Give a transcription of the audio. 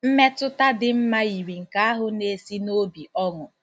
Mmetụta dị mma yiri nke ahụ na-esi n'obi ọṅụ.